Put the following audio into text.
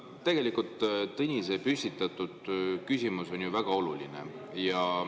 Tegelikult on Tõnise püstitatud küsimus ju väga oluline.